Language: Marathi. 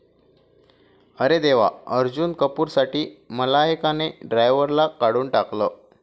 अरे देवा! अर्जुन कपूरसाठी मलायकाने ड्रायव्हरला काढून टाकलं